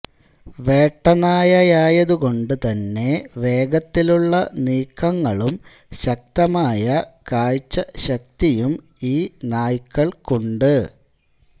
വേട്ടനായയായതു കൊണ്ടു തന്നെ വേഗത്തിലുള്ള നീക്കങ്ങളും ശക്തമായ കാഴ്ച ശക്തിയും ഈ നായ്ക്കൾക്കുണ്ട്